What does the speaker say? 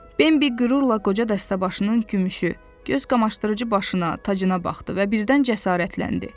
Bimbi qürurla qoca dəstəbaşının gümüşü, gözqamaşdırıcı başına, tacına baxdı və birdən cəsarətləndi.